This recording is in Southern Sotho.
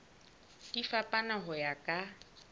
di fapana ho ya ka